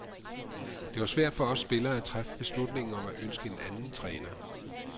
Det var svært for os spillere at træffe beslutningen om at ønske en anden træner.